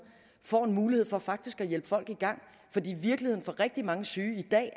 får en mulighed for faktisk at hjælpe folk i gang fordi virkeligheden for rigtig mange syge i dag